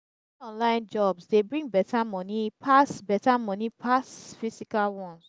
many online jobs dey bring better money pass better money pass physical ones